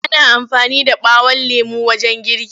Ana amfani da ɓawon lemo wajen girki.